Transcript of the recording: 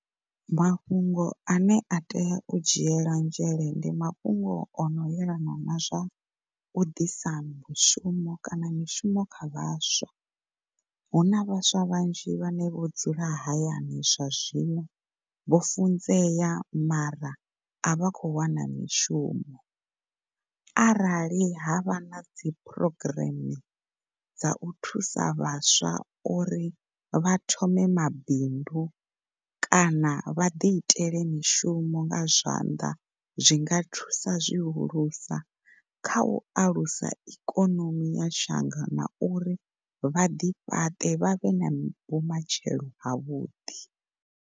Mafhungo ane a tea u dzhiela nzhele ndi mafhungo ono yelana na zwa u ḓisa mushumo kana mishumo kha vhaswa, huna vhaswa vhanzhi vhane vho dzula hayani zwa zwino vho funzea mara avha khou wana mishumo. Arali ha vha na dzi phurogireme dzau thusa vhaswa uri vha thome mabindu kana vha ḓi itele mishumo nga zwanḓa zwinga thusa zwihulusa kha u alusa ikhonomi ya shango na uri vhaḓi fhaṱe vhavhe na vhumatshelo havhuḓi.